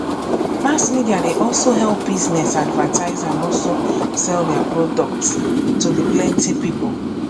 mass media dey also help business advertise and also sell their products to the plenty people